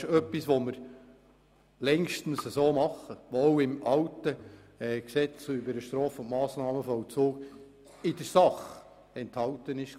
Es ist etwas, was wir längstens so handhaben und was auch im alten Gesetz über den Straf- und Massnahmenvollzug in der Sache enthalten war.